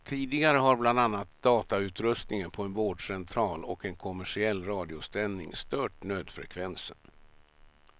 Tidigare har bland annat datautrustningen på en vårdcentral och en kommersiell radiosändning stört nödfrekvensen.